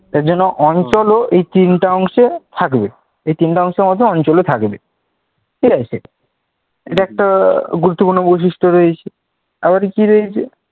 তার জন্য অঞ্চলও এই তিনটা অংশে থাকবে। এই তিনটা অঞ্চলের মধ্যে অঞ্চলও থাকবে ঠিক আছে এটা একটা গুরুত্বপূর্ণ বৈশিষ্ট্য রয়েছে। আবার কি রয়েছে